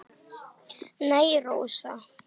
Nei, Rósa.